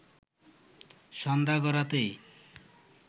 সন্ধ্যা গড়াতেই